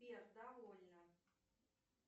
сбер довольно